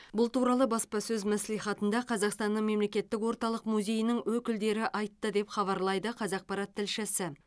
бұл туралы баспасөз мәслихатында қазақстанның мемлекеттік орталық музейінің өкілдері айтты деп хабарлайды қазақпарат тілшісі